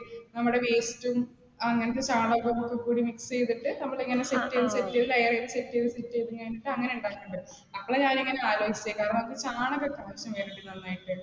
നമ്മുടെ waste ഉം അങ്ങനത്തെ സാധനങ്ങളൊക്കെ കൂടി mix ചെയ്തിട്ട് നമ്മൾ ഇങ്ങനെ set ചെയ്തു set ചെയ്തു layer ചെയ്തു, set ചെയ്തു, set ചെയ്തു, ഞാൻ അങനെയാണ് ട്ടോ ഉണ്ടാക്കുന്നത്. എപ്പളാ ഞാനിങ്ങനെ ആലോചിച്ചേ, നമുക്ക് ചാണകം നന്നായിട്ട്